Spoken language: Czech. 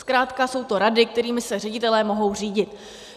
Zkrátka jsou to rady, kterými se ředitelé mohou řídit.